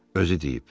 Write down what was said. Özü deyib.